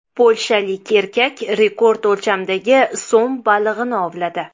Polshalik erkak rekord o‘lchamdagi som balig‘ini ovladi.